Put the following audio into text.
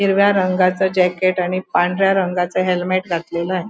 हिरव्या रंगाचं जॅकेट आणि पांढऱ्या रंगाचं हेलमेट घातलेलं आहे.